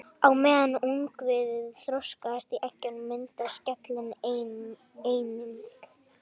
Á meðan ungviðið þroskast í egginu myndast skelin einnig.